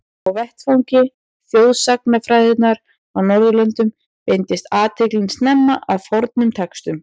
Á vettvangi þjóðsagnafræðinnar á Norðurlöndum beindist athyglin snemma að fornum textum.